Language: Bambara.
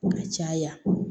Ka caya